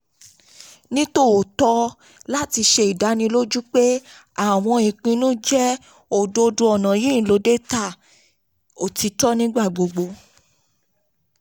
nitòótọ́ láti ṣe ìdánilójú pé àwọn ìpinnu jẹ́ òdodo ọ̀nà yìí ń lo data òtítọ́ nígbàgbogbo.